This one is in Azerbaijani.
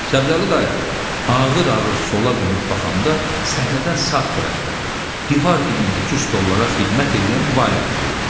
Səbzəli dayı ağır-ağır sola dönüb baxanda səhnədən sağ tərəfdə divar dibindəki stollara xidmət eləyən Valyanı gördü.